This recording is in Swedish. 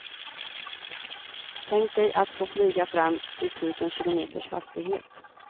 Tänk dig att få flyga fram i tusen kilometers hastighet.